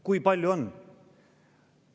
Kui palju on?